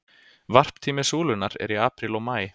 varptími súlunnar er í apríl og maí